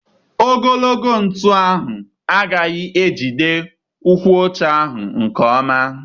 Ogologo ntụ ahụ agaghị ejide ụkwụ ọcha ahụ nke ọma.